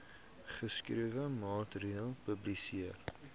geskrewe materiaal publiseer